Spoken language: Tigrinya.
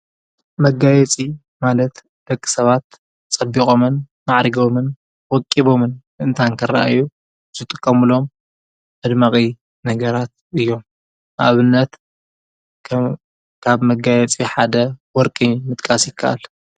መጋየፂ ማለት ደቂሰባት ፀቢቆምን ማዕሪጎሞን ወቂቦምን ምእንታን ኽረኣዩ ዝጥመቅሙሎም መድመቂ ነገራት እዬም ። ንኣብነት ኻብ መጋየፂ ሓደ ወርቂ ምጥቃስ ይከኣል።